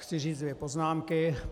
Chci říci dvě poznámky.